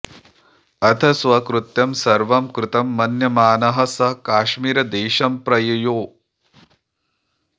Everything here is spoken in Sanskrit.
अथ स्वकृत्यं सर्वं कृतं मन्यमानः स काश्मीरदेशं प्रययौ